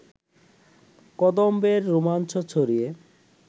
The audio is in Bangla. কদম্বের রোমাঞ্চ ছড়িয়ে